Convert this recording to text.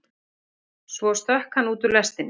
Og svo stökk hann út úr lestinni.